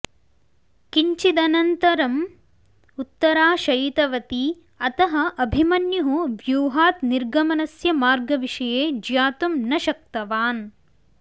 किञ्चिदनन्तरम् उत्तरा शयितवती अतः अभिमन्युः व्यूहात् निर्गमनस्य मार्गविषये ज्ञातुं न शक्तवान्